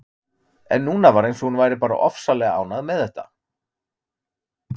En núna var eins og hún væri bara ofsalega ánægð með þetta.